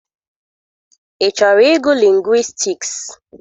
Ị chọrọ ịgụ lingwistiks?